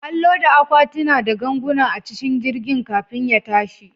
An loda akwatuna da ganguna a cikin jirgin kafin ya tashi.